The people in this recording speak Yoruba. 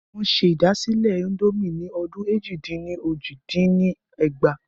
Wọn ṣe ìdásílẹ́ índòmí ni ọdún èjì-dín-ní-ojì dín ní ẹgbàá.